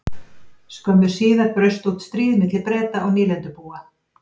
Skömmu síðar braust út stríð milli Breta og nýlendubúa.